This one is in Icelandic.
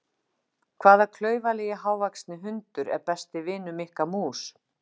Hvaða klaufalegi hávaxni hundur er besti vinur Mikka mús?